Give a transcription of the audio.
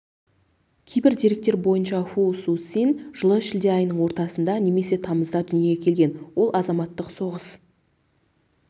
кейбір деректер бойынша фу суцин жылы шілде айының ортасында немесе тамызда дүниеге келген ол азаматтық соғыс